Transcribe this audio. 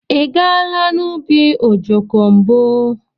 Ị gaala n'ubi ojoko mbu?